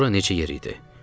Bura necə yer idi?